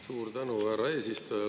Suur tänu, härra eesistuja!